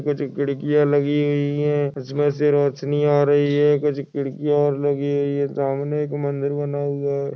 कुछ खिड़कियां लगी हुई है उसमे से रोशनी आ रही है कुछ खिड़कियां लगी हुई है सामने एक मंदिर बना हुआ है।